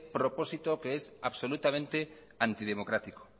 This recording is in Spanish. propósito que es absolutamente antidemocrático